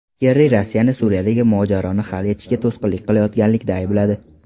Kerri Rossiyani Suriyadagi mojaroni hal etishga to‘sqinlik qilayotganlikda aybladi.